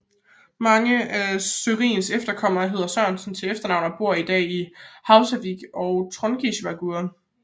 Mange af Sørins efterkommere hedder Sørensen til efternavn og bor i dag i Húsavík og Trongisvágur